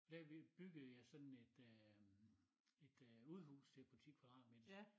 Da vi byggede jeg sådan et øh et øh udehus til på 10 kvadratmeter